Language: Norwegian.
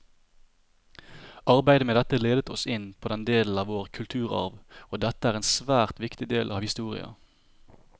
Arbeidet med dette ledet oss inn på denne delen av vår kulturarv, og dette er en svært viktig del av historia.